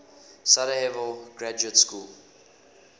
sarajevo graduate school